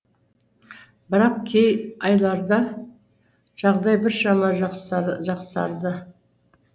бірақ кей айларда жағдай біршама жақсарды